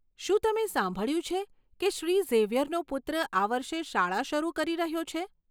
શું તમે સાંભળ્યું છે કે શ્રી ઝેવિયરનો પુત્ર આ વર્ષે શાળા શરૂ કરી રહ્યો છે?